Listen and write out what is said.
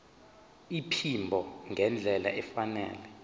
iphimbo ngendlela efanele